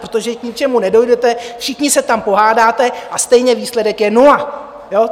Protože k ničemu nedojdete, všichni se tam pohádáte a stejně výsledek je nula.